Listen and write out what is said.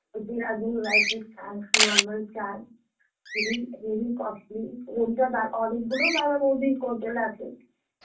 Dehradun rice এর চাল চাল heavy heavy costly অনেকগুলো দাদা বৌদির hotel আছে